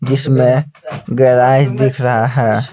जिसमें गहराई दिख रहा है.